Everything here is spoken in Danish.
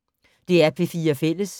DR P4 Fælles